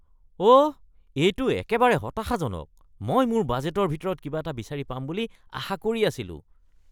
অঁ, এইটো একেবাৰে হতাশাজনক। মই মোৰ বাজেটৰ ভিতৰত কিবা এটা বিচাৰি পাম বুলি আশা কৰি আছিলোঁ।